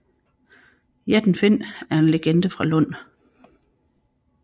Jætten Finn er en legende fra Lund